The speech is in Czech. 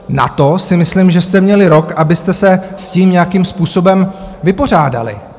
Na to si myslím, že jste měli rok, abyste se s tím nějakým způsobem vypořádali.